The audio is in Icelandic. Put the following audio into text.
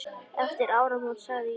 Eftir áramót sagði ég.